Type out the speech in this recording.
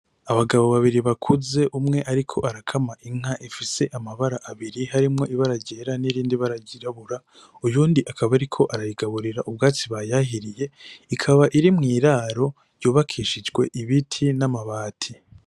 Abagabo babiri bakuze umwe ariko arakama inka ifise amabara abiri, harimwo ibara ryera, n'irindi bara ryirabura, uyundi akaba ariko arayigaburira ubwatsi bayahiriye, ikaba iri mw'iraro ryubakishijwe ibiti n'amabati.